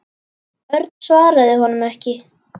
Örn svaraði honum ekki.